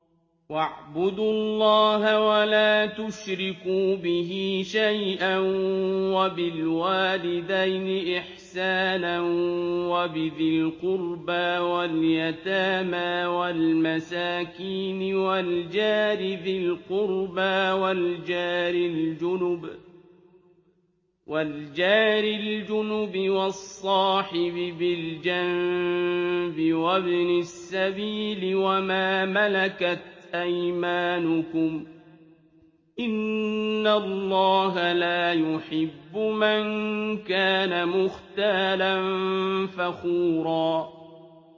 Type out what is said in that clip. ۞ وَاعْبُدُوا اللَّهَ وَلَا تُشْرِكُوا بِهِ شَيْئًا ۖ وَبِالْوَالِدَيْنِ إِحْسَانًا وَبِذِي الْقُرْبَىٰ وَالْيَتَامَىٰ وَالْمَسَاكِينِ وَالْجَارِ ذِي الْقُرْبَىٰ وَالْجَارِ الْجُنُبِ وَالصَّاحِبِ بِالْجَنبِ وَابْنِ السَّبِيلِ وَمَا مَلَكَتْ أَيْمَانُكُمْ ۗ إِنَّ اللَّهَ لَا يُحِبُّ مَن كَانَ مُخْتَالًا فَخُورًا